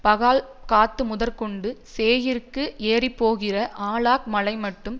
பாகால்காத்முதற்கொண்டு சேயீருக்கு ஏறிப்போகிற ஆலாக்மலைமட்டும்